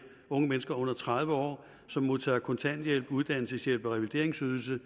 unge mennesker under tredive år som modtager kontanthjælp uddannelseshjælp og revalideringsydelse